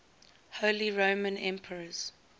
holy roman emperors